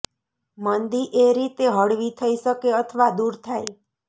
મંદી એ રીતે હળવી થઈ શકે અથવા દૂર થાય